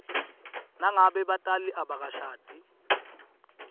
nangabe batali abakashadi